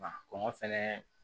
Wa kɔngɔ fɛnɛ